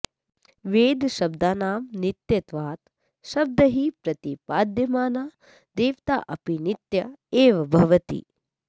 वेदशब्दानां नित्यत्वात् शब्दैः प्रतिपाद्यमाना देवता अपि नित्या एव भवति